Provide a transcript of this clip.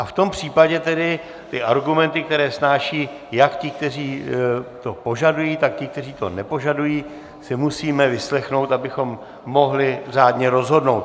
A v tom případě tedy ty argumenty, které snášejí jak ti, kteří to požadují, tak ti, kteří to nepožadují, si musíme vyslechnout, abychom mohli řádně rozhodnout.